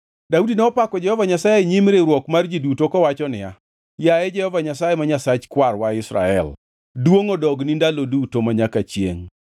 Daudi nopako Jehova Nyasaye e nyim riwruok mar ji duto kowacho niya, “Yaye Jehova Nyasaye ma Nyasach kwarwa Israel, duongʼ odogni ndalo duto, manyaka chiengʼ.